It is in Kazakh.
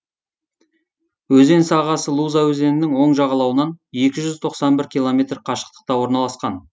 өзен сағасы луза өзенінің оң жағалауынан екі жүз тоқсан бір километр қашықтықта орналасқан